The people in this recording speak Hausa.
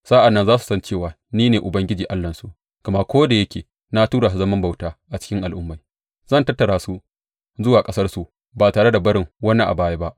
Sa’an nan za su san cewa ni ne Ubangiji Allahnsu, gama ko da yake na tura su zaman bauta a cikin al’ummai, zan tattara su zuwa ƙasarsu, ba tare da barin wani a baya ba.